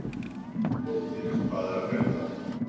Tóti, hvað er að frétta?